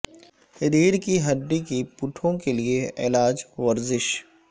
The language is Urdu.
ریڑھ کی ہڈی کی پٹھوں کے لئے علاج ورزش